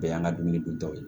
Bɛɛ y'an ka dumuni duntaw ye